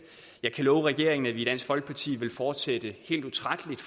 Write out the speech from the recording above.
jeg kan love regeringen at vi i dansk folkeparti vil fortsætte helt utrætteligt